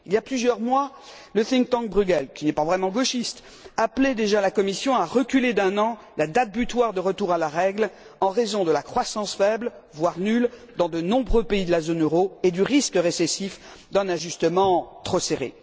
Il y a plusieurs mois, le think tank Bruegel qui n'est pas vraiment gauchiste, appelait déjà la Commission à reporter d'un an la date butoir de retour à la règle en raison de la croissance faible, voire nulle, dans de nombreux pays de la zone euro et du risque récessif d'un ajustement trop serré.